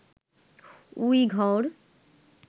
Uyghur